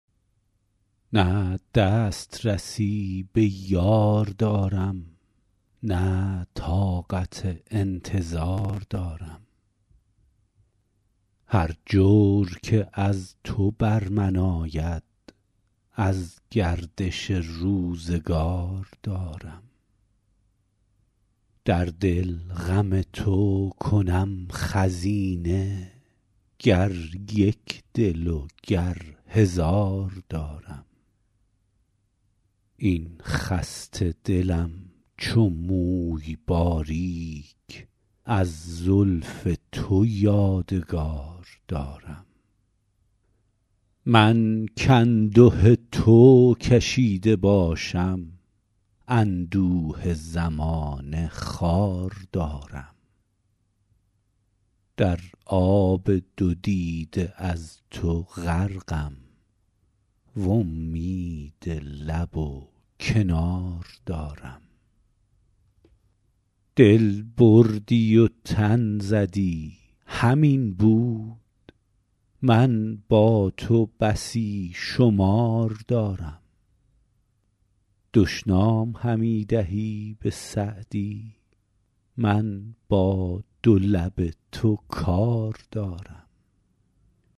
نه دست رسی به یار دارم نه طاقت انتظار دارم هر جور که از تو بر من آید از گردش روزگار دارم در دل غم تو کنم خزینه گر یک دل و گر هزار دارم این خسته دلم چو موی باریک از زلف تو یادگار دارم من کانده تو کشیده باشم اندوه زمانه خوار دارم در آب دو دیده از تو غرقم وامید لب و کنار دارم دل بردی و تن زدی همین بود من با تو بسی شمار دارم دشنام همی دهی به سعدی من با دو لب تو کار دارم